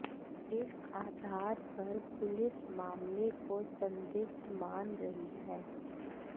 इस आधार पर पुलिस मामले को संदिग्ध मान रही है